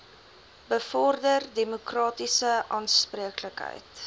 bevorder demokratiese aanspreeklikheid